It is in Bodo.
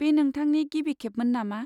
बे नोंथांनि गिबि खेबमोन नामा?